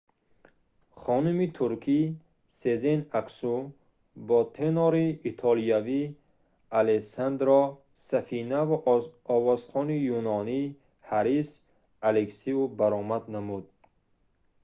хонуми туркӣ сезен аксу бо тенори итолиёвӣ алессандро сафина ва овозхони юнонӣ ҳарис алексиу баромад намуд